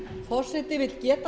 forseti vill geta